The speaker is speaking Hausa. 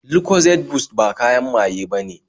Lucozade Boost ba kayan maye bane